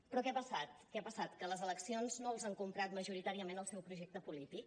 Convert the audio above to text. però què ha passat què ha passat que les eleccions no els han comprat majoritàriament el seu projecte polític